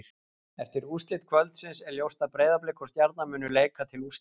Eftir úrslit kvöldsins er ljóst að Breiðablik og Stjarnan munu leika til úrslita.